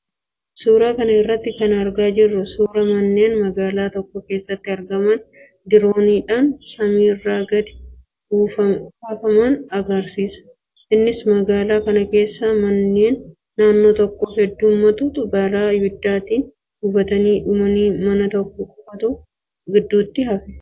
Suuraa kana irraa kan argaa jirru suuraa manneen magaalaa tokko keessatti argaman dirooniidhaan samiirraa gadi kaafaman agarsiisa. Innis magaalaa kana keessaa manneen naannoo tokkoo hundumtuu balaa abiddaatiin gubatannii dhumanii mana tokko qofaatu gidduutti hafe.